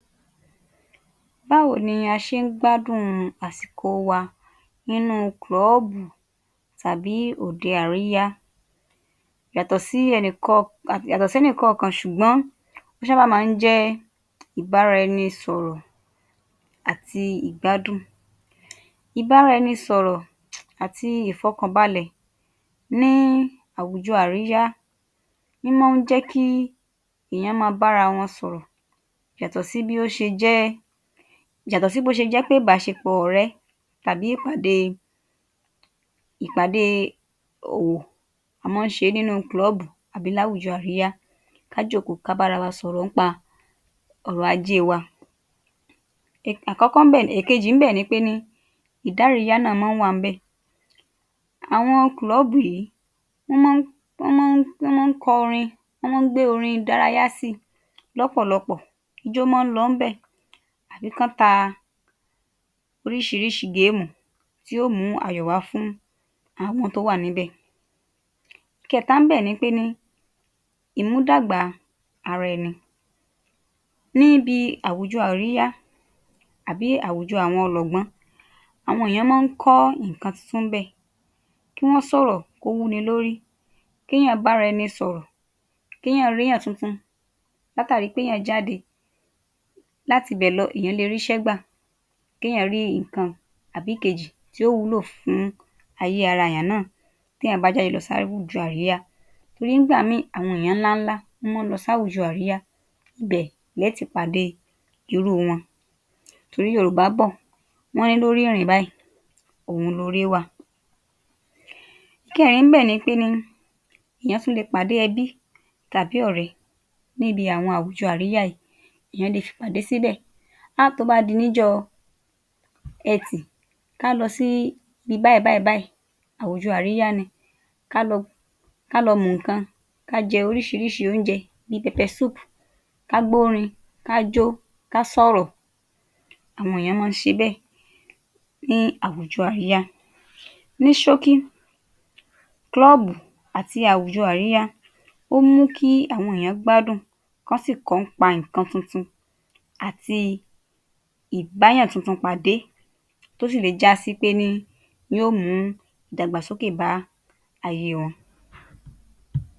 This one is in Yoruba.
Báwo ni a ṣe ń gbádùn àsìkò wa nínú kúlọ̀bù tàbí òde àríyá? Yàtò sí yàtọ̀ sẹ́nì yàtọ̀ sẹ́nì kọ̀ọ̀kan ṣùgbọ́n ó ṣàbà má ń jẹ́ ìbáraẹnisọ̀rọ̀ àti ìgbádùn. Ìbáraẹnisọ̀rọ̀ àti ìfọkànbàlè ní àwùjọ àríyá, ń mọ ń jẹ́ kí èèyàn máa bára wọn sọ̀rọ̀, yàtọ̀ sí bí ó ṣe jẹ́, yàtọ̀ sí bó ṣe jẹ́ ìbáṣepọ̀ ọ̀rẹ́ tàbí tàbí ìpàdé ìpàdé òwò. A má ń ṣe é ní inú kúlọ̀bù àbí láwùjọ àríyá, ká jòkóó, ká bára wa sọ̀rọ̀ nípa ọrọ̀ ajé wa. Àkọ́kọ́ ń bẹ̀, èkejì ń bẹ̀ ni pé ní ìdáriyá náà má ń wà níbè. Àwọn kúlọ̀bù yìí, wọ́n mọ́ ń, wọ́n mọ́ ń, wọ́n mọ́ ń kọ orin. Wọ́n mọ́ ń gbé orin ìdárayá síi lọ́pọ̀lọpọ̀. Ijó mọ́ ń lọ níbẹ̀ àbí kán ta oríṣiríṣi géèmù tí ó mú ayọ̀ wá fún àwọn tó wà níbẹ̀. Ìkẹta níbẹ̀ ni pé ní ìmúdàgbà ara ẹni Níbi àwùjọ àríyá, àbí àwùjọ àwọn ọlọ̀gbọ́n, àwọn èèyàn mọ́ ń kọ́ nǹkan tuntun níbẹ̀, kí wọ́n sọ̀rọ̀ kó wúni lórí, k’éèyàn bára ẹni sọ̀rò, k’éèyàn r’éyàn tuntun látàrí pé èyàn jáde. Látibẹ̀ lọ, èèyán lè ríṣé gbà, kéyàn rí nǹkan àbí ìkejì tí ó wúlò fún ayé ara èèyàn náà t’éèyàn bá jáde láwùjọ àríyá torí nígbà míì, àwọn èèyàn ńlá ńlá tó má ń lọ sáwùjọ àríyá, ibẹ̀ lẹ̀ ẹ́ ti pàdé irú wọn. Torí Yorùbá bọ̀, wọ́n ní, “Lórí ìrìn báyìí òhun loore wà”. Ìkẹẹ̀rin níbẹ̀ ni pé ni èèyàn tún lè pàdé ẹbí àbí ọ̀rẹ́ níbi àwọn àwùjọ àríyá yìí. Èyàn lè fi ìpàdé síbẹ̀. um Tó bá di níjọ́́ Ẹtì, ká lọ sí ibí báyìí báyìí báyìí àwùjọ àríyá ni, ká lọ ká lọ mu nǹkan, ká jẹ oríṣiríṣi óúnjẹ bí i. Ká gbórin, ká jó, ká sọ̀rọ̀, àwọn èèyàn má ń ṣe bẹ́ẹ̀ ní àwùjọ àríyá. Ní ṣókí, kúlòbù àti àwùjọ àríyá, ó mú kí àwọn èèyàn gbádùn, kán sì kọ́ nípa nǹkan tuntun àti ìbáyàn tuntun pàdé tó sì lè jásí pé ní yóò mú ìdàgbàsókè bá aýe wọn.